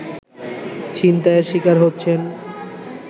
ছিনতাইয়ের শিকার হচ্ছেন